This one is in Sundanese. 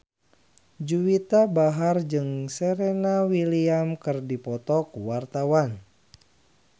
Juwita Bahar jeung Serena Williams keur dipoto ku wartawan